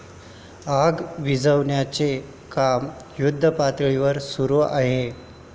आग विझवण्याचे काम युद्धपातळीवर सुरू आहे.